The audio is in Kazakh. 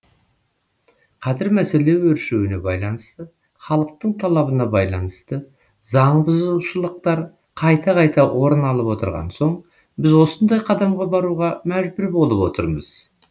қазір мәселе өршуіне байланысты халықтың талабына байланысты заңбұзушылықтар қайта қайта орын алып отырған соң біз осындай қадамға баруға мүжбүр болып отырмыз